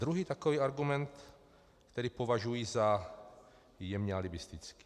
Druhý takový argument, který považuji za jemně alibistický.